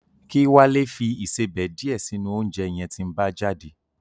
Kí Wálé fi ìsebẹ̀ díẹ̀ sínú oúnjẹ yẹn tí ń bá jáde